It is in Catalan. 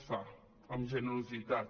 es fa amb generositat